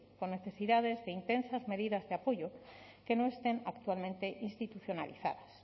con necesidades de intensas medidas de apoyo que no estén actualmente institucionalizadas